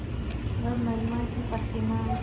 वह महिमा की प्रतिमा